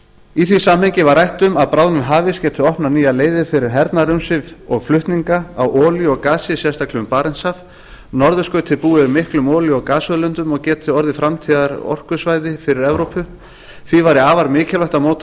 í því samhengi var rætt um að bráðnun hafíss geti opnað nýjar leiðir fyrir hernaðarumsvif og flutninga á olíu og gasi sérstaklega um barentshaf norðurskautið búi yfir miklum olíu og gasauðlindum og geti orðið framtíðarorkusvæði fyrir evrópu því væri afar mikilvægt að móta